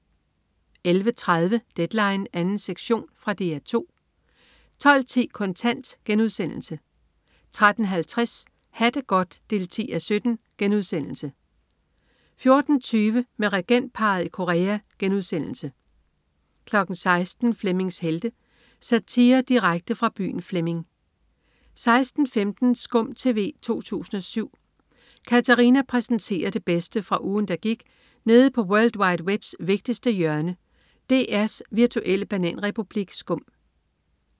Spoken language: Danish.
11.30 Deadline 2. sektion. Fra DR 2 12.10 Kontant* 13.50 Ha' det godt 10:17* 14.20 Med regentparret i Korea* 16.00 Flemmings Helte. Satire direkte fra byen Flemming 16.15 Skum TV 2007. Katarina præsenterer det bedste fra ugen, der gik nede på world wide webs vigtigste hjørne, DR's virtuelle bananrepublik Skum